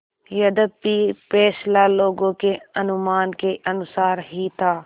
यद्यपि फैसला लोगों के अनुमान के अनुसार ही था